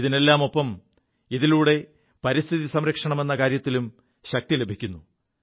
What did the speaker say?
ഇതിനെല്ലാമൊപ്പം ഇതിലൂടെ പരിസ്ഥിതി സംരക്ഷണമെ കാര്യത്തിനും ശക്തി ലഭിക്കുു